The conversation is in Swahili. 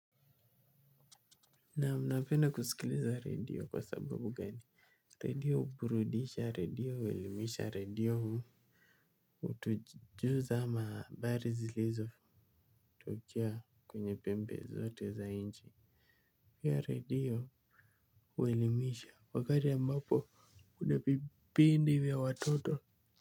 Naam napenda kusikiliza redio kwa sababu gani. Redio huburudisha redio huelimisha redio hutujuza ama habari zilizotokea kwenye pembe zote za nchi pia redio huelimisha wakati ambapo kuna vipindi vya watoto.